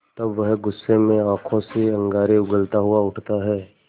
तब वह गुस्से में आँखों से अंगारे उगलता हुआ उठता है